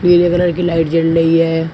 पीले कलर की लाइट जल रही है।